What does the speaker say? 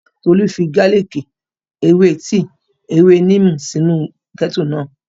Tolú fi gálìkì, ewé tíì, ewé níìmù sínu kẹ́ẹ́tù náà